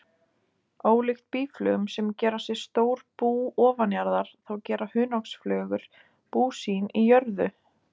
Ólíkt býflugum sem gera sér stór bú ofanjarðar, þá gera hunangsflugur bú sín í jörðu.